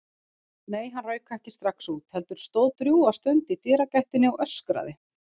Nei, hann rauk ekki strax út, heldur stóð drjúga stund í dyragættinni og öskraði.